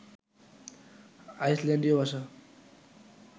আইসল্যান্ডীয় ভাষা